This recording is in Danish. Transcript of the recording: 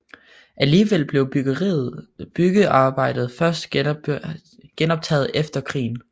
Alligevel blev byggearbejdet først genoptaget efter krigen